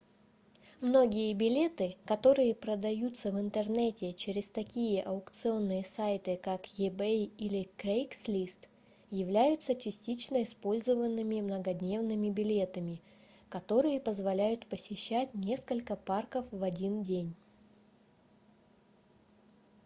многие билеты которые продаются в интернете через такие аукционные сайты как ebay или craigslist являются частично использованными многодневными билетами которые позволяют посещать несколько парков в один день